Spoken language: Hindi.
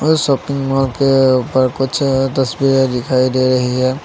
इस शॉपिंग मॉल के ऊपर कुछ तस्वीरें दिखाई दे रही है।